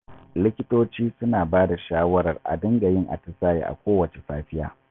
Likitoci suna ba da shawarar a dinga yin atisaye a kowacce safiya